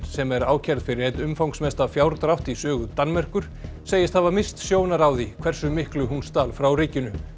sem er ákærð fyrir einn umfangsmesta fjárdrátt í sögu Danmerkur segist hafa misst sjónar á því hversu miklu hún stal frá ríkinu